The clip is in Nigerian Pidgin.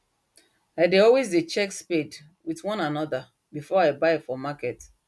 i dey always dey check spade with one another before i buy for market